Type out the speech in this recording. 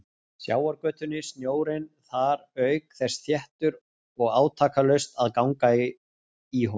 Sjávargötunni, snjórinn þar auk þess þéttur og átakalaust að ganga í honum.